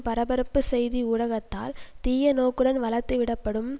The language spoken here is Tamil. பரபரப்புச்செய்தி ஊடகத்தால் தீய நோக்குடன் வளர்த்துவிடப்படும்